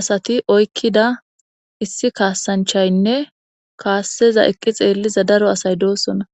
asati oykkida issi kaassanchaynne kaasseza eqqi xeelliza daro asay doosona.